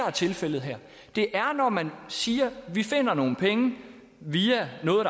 er tilfældet her det er når man siger vi finder nogle penge via noget